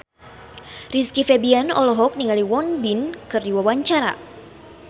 Rizky Febian olohok ningali Won Bin keur diwawancara